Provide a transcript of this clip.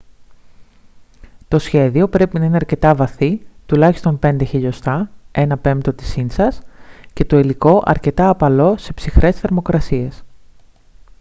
το σχέδιο πρέπει να είναι αρκετά βαθύ τουλάχιστον 5 mm 1/5 ίντσας και το υλικό αρκετά απαλό σε ψυχρές θερμοκρασίες